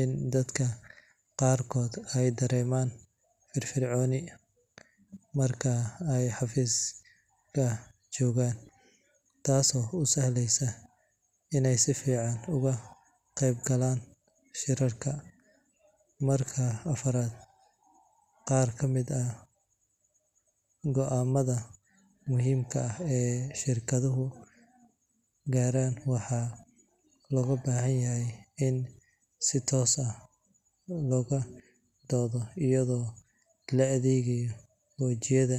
in dadka qaarko eey daremaan firfircooni marka ey xafiska jogaan taas oo usahleysa in ey sifican ugaqeyb galaan shirarka. Marka afaraad qaar kamid ah goaamadha muhiimka ah ee shorkadhuhu garaan waxaa logabahanyahy in si toos as looga doodho iyago laadhegayo xoojiyadha